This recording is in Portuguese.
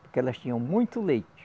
Porque elas tinham muito leite.